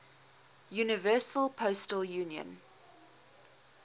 universal postal union